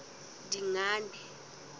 dingane